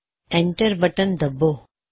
enter button ਦੱਬੋ